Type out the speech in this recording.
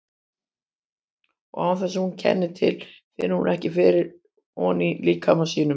Og án þess að hún kenni til finnur hún fyrir honum inní líkama sínum.